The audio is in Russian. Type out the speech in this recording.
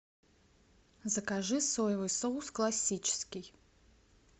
закажи соевый соус классический